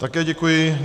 Také děkuji.